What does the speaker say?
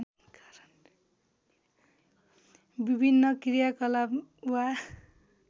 विभिन्न क्रियाकलाप वा